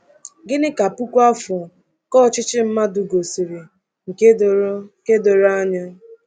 Gịnị ka puku afọ nke ọchịchị mmadụ gosiri nke doro nke doro anya?